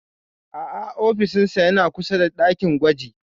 A'a ofishinsa yana kusa da ɗakin gwaji.